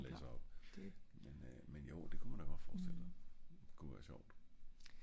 det kommer altid an på hvem der læser op men øh men jo det kunne man da godt forestille sig det ku da være sjovt